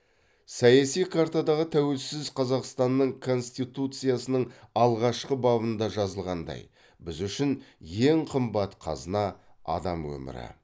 саяси картадағы тәуелсіз қазақстанның коституциясының алғашқы бабында жазылғандай біз үшін ең қымбат қазына адам өмірі